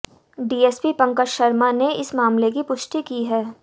DSP Pankaj Sharma ने इस मामले की पुष्टि की है